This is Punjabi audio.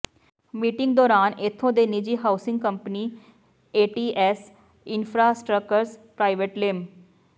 ਮੀਟਿੰਗ ਦੌਰਾਨ ਇਥੋਂ ਦੇ ਨਿੱਜੀ housing company ATS infrastructures private ਲਿਮ